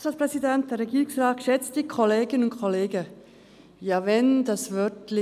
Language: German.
Wenn nur das Wort «verhältnismässig» nicht wäre.